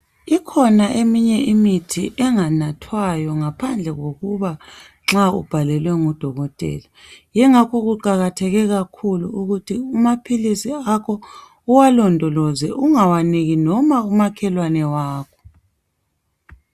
Ikhona eminye imithi enganathwayo ngaphandle kokuba nxa ubhalelwe ngudokotela. Yingakho kuqakatheke kakhulu ukuthi kumaphilisi akho uwalondoloze, ungawaniki noma umakhelwane wakho.